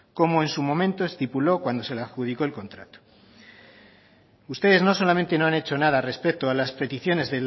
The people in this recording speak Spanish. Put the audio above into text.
como en su momento estipuló cuando se le adjudicó el contrato ustedes no solamente no han hecho nada respecto a las peticiones